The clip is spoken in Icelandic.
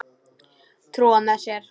Trúa með sér.